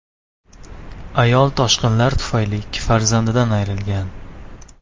Ayol toshqinlar tufayli ikki farzandidan ayrilgan.